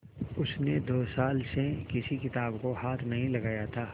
उसने दो साल से किसी किताब को हाथ नहीं लगाया था